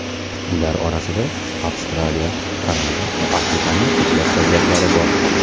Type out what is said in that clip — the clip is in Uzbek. Ular orasida Avstraliya, Kanada va Afrikaning ko‘plab davlatlari bor.